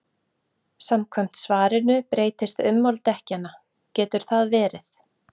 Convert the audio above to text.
Samkvæmt svarinu breytist ummál dekkjanna, getur það verið?